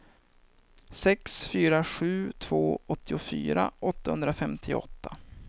sex fyra sju två åttiofyra åttahundrafemtioåtta